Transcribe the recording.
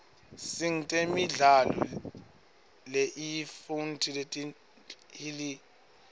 singtemidlalo leinyifnti letihilukilo